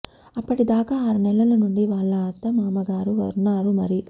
అప్పటిదాకా ఆరు నెలలు నుండి వాళ్ళ అత్త మామగారు వున్నారు మరి